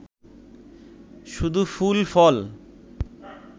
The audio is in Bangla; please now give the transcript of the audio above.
শুধু ফুল ফল!